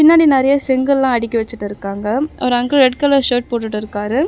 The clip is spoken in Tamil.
பின்னாடி நறையா செங்கல்லா அடுக்கி வெச்சிட்டு இருக்காங்க ஒரு அங்குள் ரெட் கலர் ஷர்ட் போட்டுட்டு இருக்காரு.